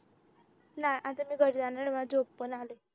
नाही आता मी घरी जाणार आहे मला झोप पण आले